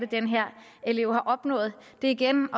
den her elev har opnået det er igen